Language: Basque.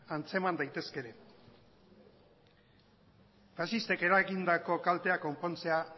antzeman daitezke ere faxistek eragindako kalteak konpontzea